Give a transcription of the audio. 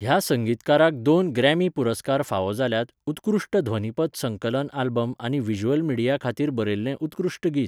ह्या संगीतकाराक दोन ग्रॅमी पुरस्कार फावो जाल्यात उत्कृश्ट ध्वनीपथ संकलन आल्बम आनी व्हिज्युअल मिडिया खातीर बरयल्लें उत्कृश्ट गीत.